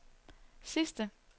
sidste